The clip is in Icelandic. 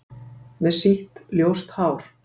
"""Með sítt, ljóst hár."""